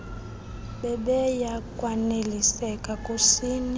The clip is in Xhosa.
bebeya kwaneliseka kusini